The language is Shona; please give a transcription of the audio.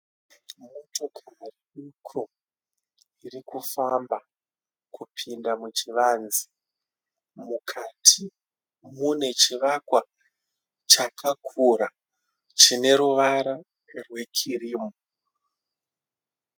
Motokari duku iri kufamba kupinda muchivanze. Mukati mune chivakwa chakakura chine ruvara rwekirimu.